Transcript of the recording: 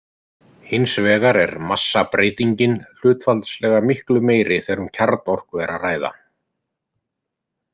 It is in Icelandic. Hins vegar er massabreytingin hlutfallslega miklu meiri þegar um kjarnorku er að ræða.